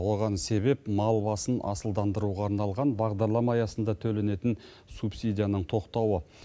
оған себеп мал басын асылдандыруға арналған бағдарлама аясында төленетін субсидияның тоқтауы